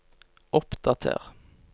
oppdater